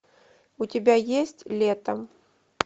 у тебя есть лето